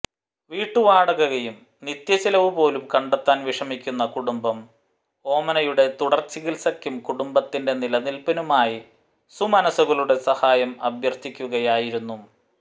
വീട്ടുവാടകയും നിത്യചിലവും പോലും കണ്ടെത്താൻ വിഷമിക്കുന്ന കുടുംബം ഓമനയുടെ തുടർ ചികിത്സകൾക്കും കുടുംബത്തിന്റെ നിലനിൽപ്പിനുമായി സുമനസുകളുടെ സഹായം അഭ്യർഥിക്കുകയായിരുന്നു